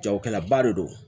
Jagokɛlaba de don